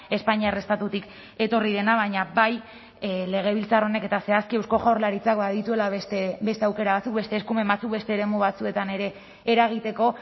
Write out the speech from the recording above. espainiar estatutik etorri dena baina bai legebiltzar honek eta zehazki eusko jaurlaritzak badituela beste aukera batzuk beste eskumen batzuk beste eremu batzuetan ere eragiteko